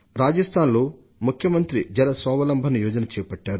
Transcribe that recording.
రాజస్థాన్లో ముఖ్యమంత్రి జల స్వావలంబన్ యోజన ను చేపట్టారు